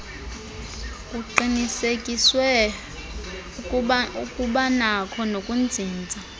kuqinisekiswe ukubanakho nokuzinza